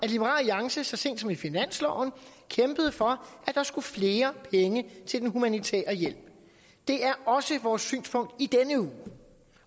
alliance så sent som i finansloven kæmpede for at der skulle flere penge til den humanitære hjælp det er også vores synspunkt i denne uge